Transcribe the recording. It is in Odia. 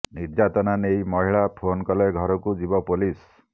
ନିର୍ଯ଼ାତନା ନେଇ ମହିଳା ଫୋନ କଲେ ଘରକୁ ଯିବ ପୋଲିସ